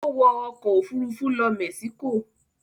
Ó wọ ọkọ̀-òfurufú lọ Mexico?